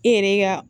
I yɛrɛ ka